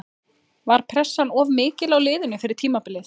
Var pressan of mikil á liðinu fyrir tímabilið?